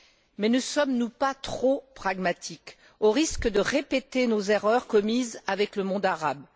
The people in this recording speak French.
Mais ne sommes nous pas trop pragmatiques au risque de répéter nos erreurs commises avec le monde arabe?